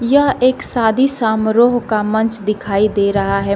यह एक शादी समारोह का मंच दिखाई दे रहा है।